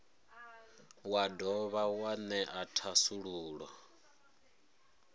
wa dovha wa ṅea thasululo